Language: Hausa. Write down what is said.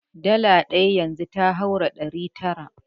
Dala ɗaya yanzu ta haura ɗari tara.